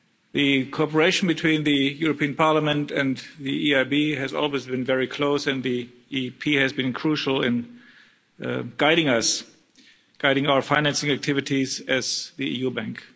The cooperation between the European Parliament and the EIB has always been very close and the EP has been crucial in guiding our financing activities as the EU bank.